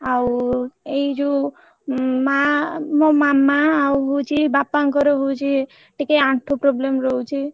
ଆଉ ଏଇ ଯୋଉ ମାଆ ମୋ ମାମା ଆଉ ହଉଛି ବାପାଙ୍କର ହଉଛି ଟିକେ ଆଁଠୁ problem ରହୁଛି।